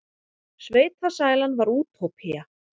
Sveitasælan var útópía.